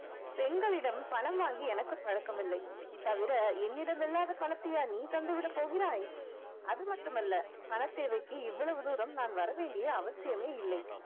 பெண்களிடம் பணம் வாங்கி எனக்கு பழக்கம் இல்லை தவிர என்னிடம் இல்லாத பணத்தையா நீ தந்து விடப் போகிறாய் அது மட்டுமல்ல பணத்தேவைக்கு இவ்வளவு தூரம் நான் வர வேண்டிய அவசியமே இல்லை